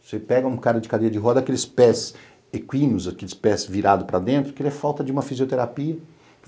Você pega um cara de cadeia de roda, aqueles pés equíneos, aqueles pés virados para dentro, que ele é falta de uma fisioterapia.